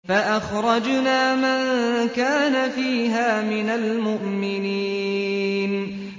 فَأَخْرَجْنَا مَن كَانَ فِيهَا مِنَ الْمُؤْمِنِينَ